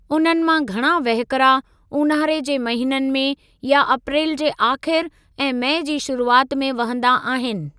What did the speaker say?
उन्हनि मां घणा वहिकिरा ऊन्हारे जे महीननि में या अप्रेलु जे आख़िरि ऐं मई जी शुरूआति में वहंदा आहिनि।